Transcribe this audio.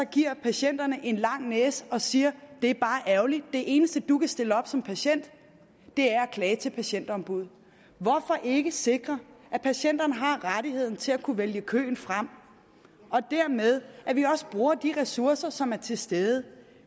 giver patienterne en lang næse og siger det er bare ærgerligt det eneste du kan stille op som patient er at klage til patientombuddet hvorfor ikke sikre at patienterne har rettigheden til at kunne vælge køen fra og dermed at vi også bruger de ressourcer som er til stede